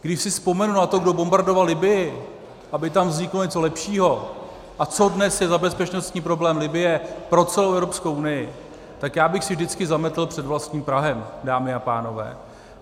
Když si vzpomenu na to, kdo bombardoval Libyi, aby tam vzniklo něco lepšího, a co dnes je za bezpečnostní problém Libye pro celou Evropskou unii, tak já bych si vždycky zametl před vlastním prahem, dámy a pánové.